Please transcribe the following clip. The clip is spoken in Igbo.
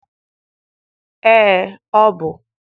Ee, ọ bụ.